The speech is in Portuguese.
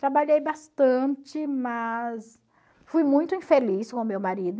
Trabalhei bastante, mas fui muito infeliz com o meu marido.